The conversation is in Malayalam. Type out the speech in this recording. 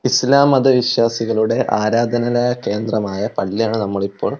ഇസ്ലാം മത വിശ്വാസികളുടെ ആരാധനാലയ കേന്ദ്രമായ പള്ളിയാണ് നമ്മൾ ഇപ്പോ--